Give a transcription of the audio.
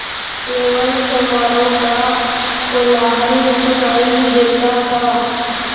केवल चमारों का कोलाहल सुनायी देता था